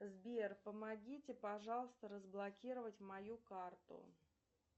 сбер помогите пожалуйста разблокировать мою карту